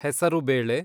ಹೆಸರುಬೇಳೆ